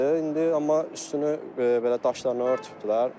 İndi amma üstünü belə daşlarını örtübdülər.